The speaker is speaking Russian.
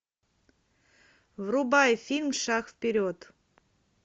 врубай фильм шаг вперед